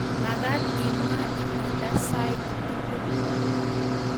Magaat imwaa imada sait tugul